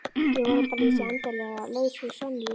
Ég vona bara að ég sé endanlega laus við Sonju.